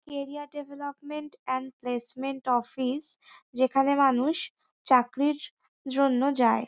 Area development and placement office যেখানে মানুষ চাকরির জন্য যায়।